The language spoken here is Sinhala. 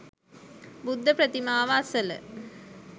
බුද්ධ ප්‍රතිමාව අසල